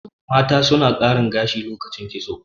mata sun karin gashi lokacin kitso